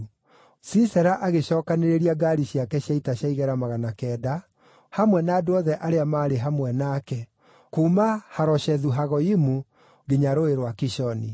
Sisera agĩcookanĩrĩria ngaari ciake cia ita cia igera magana kenda, hamwe na andũ othe arĩa maarĩ hamwe nake, kuuma Haroshethu-Hagoyimu nginya Rũũĩ rwa Kishoni.